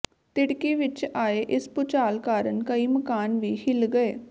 ਤਿੜਕੀ ਵਿੱਚ ਆਏ ਇਸ ਭੂਚਾਲ ਕਾਰਨ ਕਈ ਮਕਾਨ ਵੀ ਹਿੱਲ ਗਏ